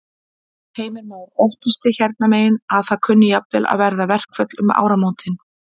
Heimir Már: Óttist þið hérna megin að það kunni jafnvel að verða verkföll um áramótin?